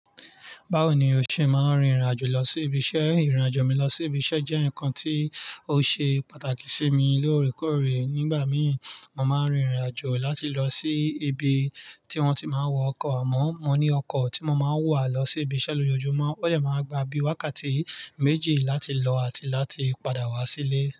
Báwo ni o ṣe máa ń rìnrìn-àjò lọ sí ibi iṣẹ́? Ìrìn-àjò mi lọ sí ibi iṣẹ́ jẹ́ nǹkan tó ṣe pàtàkì sí mi lóòrèkóòrè. Nígbà mìíì, mo máa ń rìnrìn-àjò láti lọ sí ibi tí wọ́n ti máa ń wọ ọkọ̀. Àmọ́, mo ní ọkọ̀ tí mo máa ń wọ̀ lọ sí ibi iṣẹ́ lójoojúmọ́. Ó dẹ máa n gba bí i wákàtí méjì láti lọ àti láti padà wá sílé.